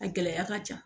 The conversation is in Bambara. A gɛlɛya ka ca